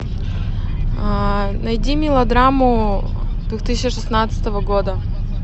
найди мелодраму две тысячи шестнадцатого года